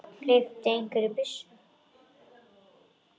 Hleypti einhver af byssu?